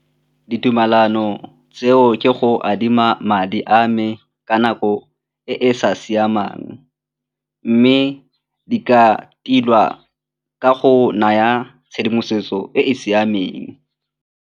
Ditumelano tseo ke go adima madi a me ka nako e e sa siamang mme di ka tilwa ka go naya tshedimosetso e e siameng.